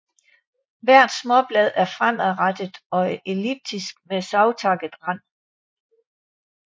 Hvert småblad er fremadrettet og elliptisk med savtakket rand